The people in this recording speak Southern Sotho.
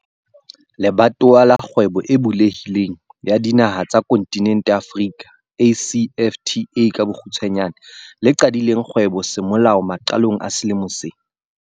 Le batowa la Kgwebo e Bulehi leng ya Dinaha tsa Kontinente ya Afrika ACFTA, le qadileng kgwebo semolao maqalong a selemo sena.